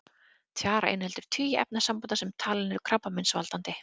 Tjara inniheldur tugi efnasambanda sem talin eru krabbameinsvaldandi.